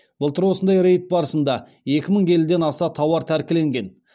былтыр осындай рейд барысында екі мың келіден аса тауар тәркіленген